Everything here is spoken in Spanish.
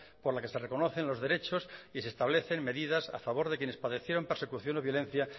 por la que se reconocen los derechos y se establecen medidas a favor de quienes padecieron persecución o violencia